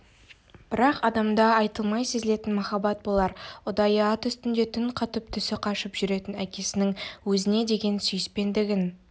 бірақ адамда айтылмай сезілетін махаббат болар ұдайы ат үстінде түн қатып түсі қашып жүретін әкесінің өзіне деген сүйіспендігін